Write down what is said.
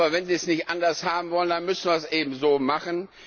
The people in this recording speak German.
Aber wenn sie es nicht anders haben wollen, dann müssen wir das eben so machen.